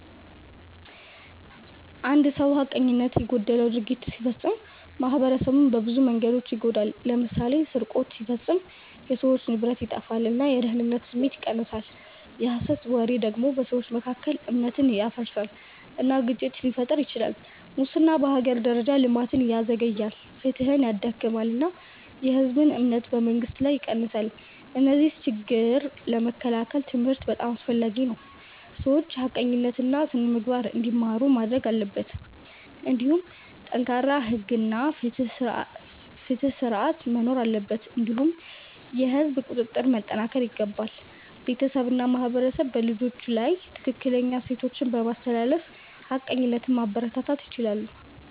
አንድ ሰው ሐቀኝነት የጎደለው ድርጊት ሲፈጽም ማኅበረሰቡን በብዙ መንገዶች ይጎዳል። ለምሳሌ ስርቆት ሲፈጸም የሰዎች ንብረት ይጠፋል እና የደህንነት ስሜት ይቀንሳል። የሐሰት ወሬ ደግሞ በሰዎች መካከል እምነት ያፈርሳል እና ግጭት ሊፈጥር ይችላል። ሙስና በሀገር ደረጃ ልማትን ያዘግያል፣ ፍትሕን ያዳክማል እና የህዝብ እምነትን በመንግስት ላይ ይቀንሳል። እነዚህን ችግኝ ለመከላከል ትምህርት በጣም አስፈላጊ ነው፤ ሰዎች ሐቀኝነትን እና ስነ-ምግባርን እንዲማሩ ማድረግ አለበት። እንዲሁም ጠንካራ ሕግ እና ፍትሕ ስርዓት መኖር አለበት እንዲሁም የህዝብ ቁጥጥር መጠናከር ይገባል። ቤተሰብ እና ማህበረሰብ በልጆች ላይ ትክክለኛ እሴቶችን በማስተላለፍ ሐቀኝነትን ማበረታታት ይችላሉ።